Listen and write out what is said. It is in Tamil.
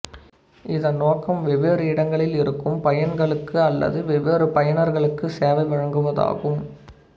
இதன் நோக்கம் வெவ்வேறு இடங்களில் இருக்கும் பயன்களுக்கு அல்லது வெவ்வேறு பயனர்களுக்கு சேவை வழங்குவதாகும்